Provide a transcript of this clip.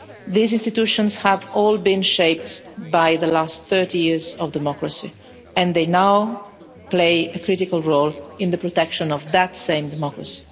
These institutions have all been shaped by the last 30 years of democracy and they now play a critical role in the protection of that same democracy.